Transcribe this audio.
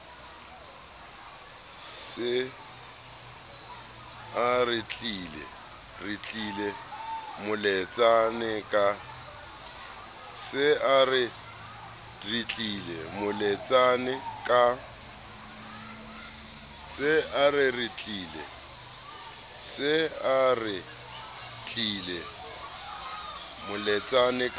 se a retlile moletsane ka